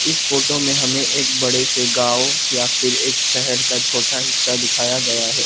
इस फोटो में हमें एक बड़े से गांव या फिर एक शहर का छोटा हिस्सा दिखाया गया है।